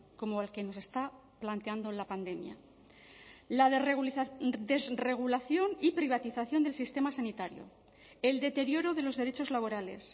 como el que nos está planteando la pandemia la desregulación y privatización del sistema sanitario el deterioro de los derechos laborales